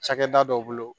Cakɛda dɔ bolo